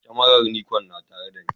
Kamarar Nikon yana tare da ni?